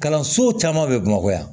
Kalanso caman bɛ bamakɔ yan